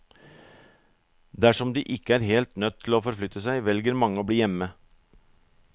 Dersom de ikke er helt nødt til å forflytte seg, velger mange å bli hjemme.